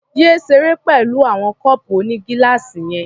Yé ṣeré pẹ̀lú àwọn kọ́ọ̀pù onígíláàsì yẹn.